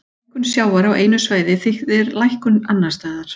Hækkun sjávar á einu svæði þýðir lækkun annars staðar.